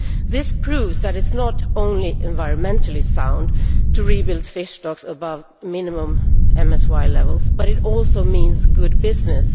This proves that it is not only environmentally sound to rebuild fish stocks above minimum MSY levels, but it also means good business.